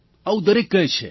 આવું દરેક કહે છે